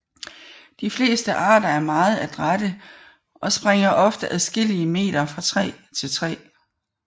De fleste arter er meget adrætte og springer ofte adskillige meter fra træ til træ